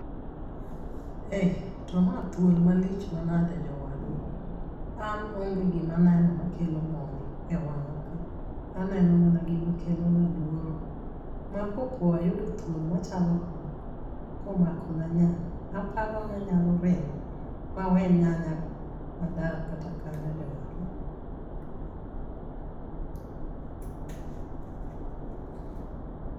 Eh to ma thuol malich manage jowadwa. An onge gima aneno makelo mor e wanga. Aneno mana gima kelona luoro. Ma kopo ayudo thuol machalo kama, komako na nyanya, aparo ni anyalo ringo ma we nyanya go madar kata kanyo jowadwa.